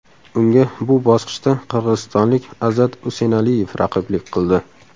Unga bu bosqichda qirg‘izistonlik Azat Usenaliyev raqiblik qildi.